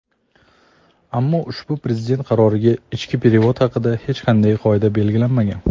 Ammo ushbu Prezident qarorida ichki "perevod" haqida hech qanday qoida belgilanmagan.